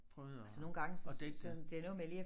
Prøvede at at dække det